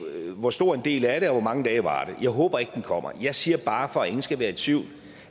hvor stor en del er det og hvor mange dage varer det jeg håber ikke den kommer jeg siger bare for at ingen skal være i tvivl